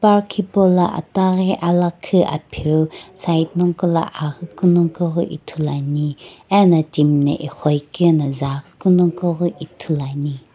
park hipala ataghi alakhu apheu side nongqo la aghuku nongqo la ithuluani ena timi na iqho iqi na zuaghi kunoqoghi ithuluani.